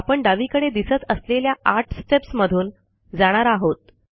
आपण डावीकडे दिसत असलेल्या आठ स्टेप्स मधून जाणार आहोत